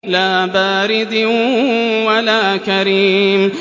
لَّا بَارِدٍ وَلَا كَرِيمٍ